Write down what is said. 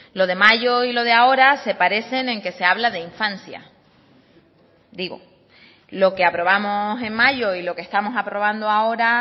lo de mayo y lo de ahora se parecen en que se habla de infancia digo lo que aprobamos en mayo y lo que estamos aprobando ahora